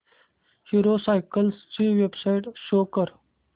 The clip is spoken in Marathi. हीरो सायकल्स ची वेबसाइट शो कर